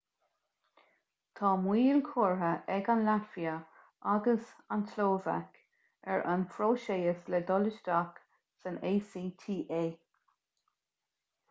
tá moill curtha ag an laitvia agus an tslóvaic ar an phróiseas le dul isteach san acta